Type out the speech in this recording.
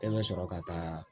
E bɛ sɔrɔ ka taa